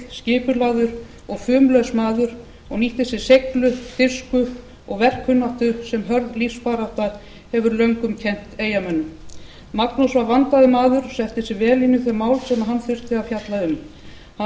kjarkmikill skipulagður og fumlaus maður og nýtti sér seiglu dirfsku og verkkunnáttu sem hörð lífsbarátta hefur löngum kennt eyjamönnum magnús var vandaður maður og setti sig vel inn í þau mál sem hann þurfti að fjalla um hann